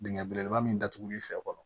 Dingɛ belebeleba min datuguli fɛ fɔlɔ